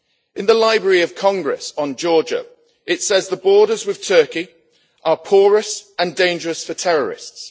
In the Library of Congress on Georgia, it says that borders with Turkey are porous and dangerous for terrorists.